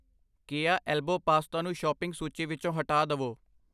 ਕਿਆ elbow pasta ਨੂੰ shopping ਸੂਚੀ ਵਿੱਚੋ ਹਟਾ ਦਵੋ I